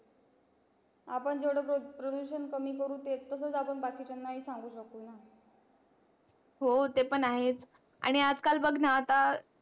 हो ते पण आहेच आणि आज काल बघ ना आता